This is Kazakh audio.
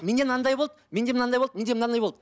менде мынандай болды менде мынандай болды менде мынандай болды